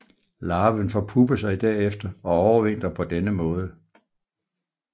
Larven forpupper sig derefter og overvintrer på denne måde